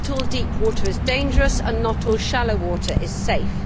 not all deep water is dangerous and not all shallow water is safe.